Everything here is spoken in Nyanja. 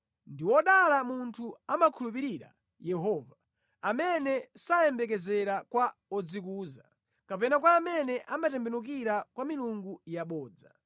Ndi wodala munthu amakhulupirira Yehova; amene sayembekezera kwa odzikuza, kapena kwa amene amatembenukira kwa milungu yabodza.